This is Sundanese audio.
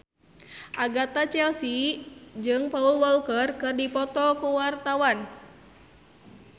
Agatha Chelsea jeung Paul Walker keur dipoto ku wartawan